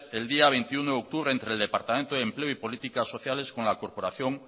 el día veintiuno de octubre entre el departamento de empleo y políticas sociales con la corporación